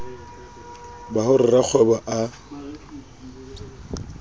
ba ho re rakgwebo a